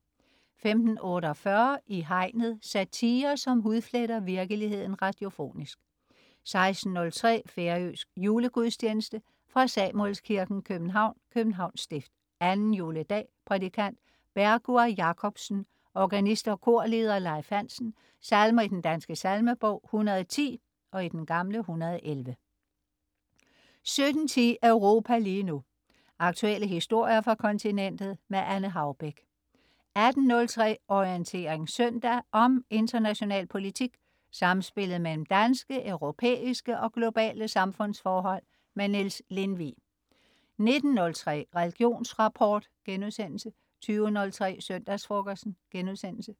15.48 I Hegnet. Satire, som hudfletter virkeligheden radiofonisk 16.03 Færøsk julegudstjeneste. Fra Samuelskirken, København (Københavns Stift). Anden juledag. Prædikant: Bergur Jakobsen. Organist og korleder: Leif Hansen. Salmer i Den Danske Salmebog: 110 (111) 17.10 Europa lige nu. Aktuelle historier fra kontinentet. Anne Haubek 18.03 Orientering søndag. Om international politik, samspillet mellem danske, europæiske og globale samfundsforhold. Niels Lindvig 19.03 Religionsrapport* 20.03 Søndagsfrokosten*